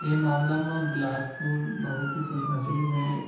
ए मामला म बिलासपुर बहुत ही खुश नशीब हे।